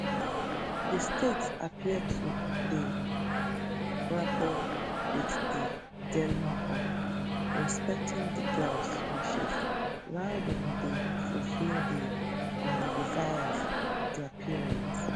di state appear to dey grapple wit di dilemma of respecting di girls wishes while dem dey fulfil di um desires of dia parents